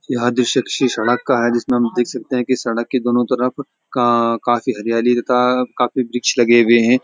यह दृश्य किसी सड़क का है जिसमें हम देख सकते हैं कि सड़क के दोनों तरफ का काफी हरियाली काफी वृक्ष लगे हुए हैं |